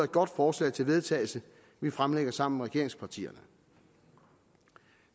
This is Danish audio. godt forslag til vedtagelse vi fremsætter sammen med regeringspartierne